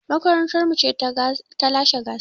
Makarantar mu ce ta lashe gasar.